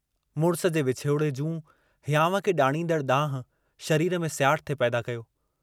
मुड़िस जे विछोड़े जूं हियांव खे ॾाड़ींदड़ दांहूं शरीर में सियाट थे पैदा कयो।